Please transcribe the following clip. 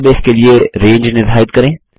database के लिए range निर्धारित करें